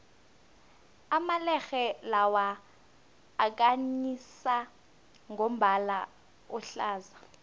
amalerhe lawa akhanyisa ngombala ohlaza